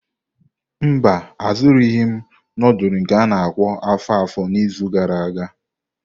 Mba, azụrụghị m nudulu nke a-na akpo afo-afo n'izu gara aga.